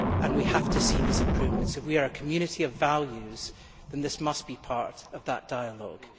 We have to see these improvements. If we are a community of values, then this must be part of that dialogue.